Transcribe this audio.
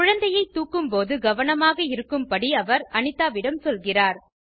குழந்தையை தூக்கும்போது கவனமாக இருக்கும்படி அவர் அனிதாவிடம் சொல்கிறார்